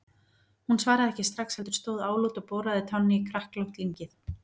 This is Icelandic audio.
Hún svaraði ekki strax, heldur stóð álút og boraði tánni í kræklótt lyngið.